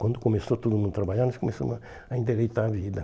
Quando começou todo mundo a trabalhar, nós começamos a a endireitar a vida.